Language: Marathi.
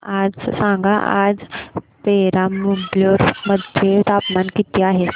सांगा आज पेराम्बलुर मध्ये तापमान किती आहे